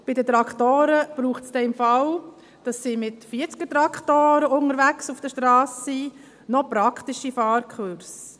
Bei den Traktoren braucht es für den Fall, dass sie mit 40er-Traktoren auf der Strasse unterwegs sind, noch praktische Fahrkurse.